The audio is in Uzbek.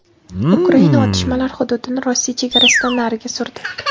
Ukraina otishmalar hududini Rossiya chegarasidan nariga surdi.